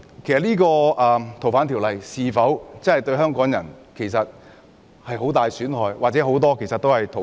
然而，《逃犯條例》是否對香港人造成很大損害或很多人是逃犯？